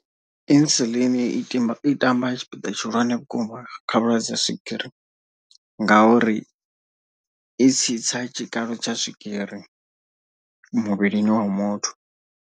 Insulin i timba i tamba tshipiḓa tshihulwane vhukuma kha vhulwadze ha swigiri. Ngauri i tsitsa tshikalo tsha swigiri muvhilini wa muthu.